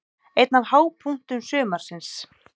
Einn af hápunktum sumarsins.